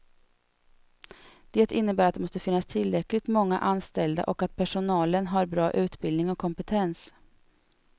Det innebär att det måste finnas tillräckligt många anställda och att personalen har bra utbildning och kompetens.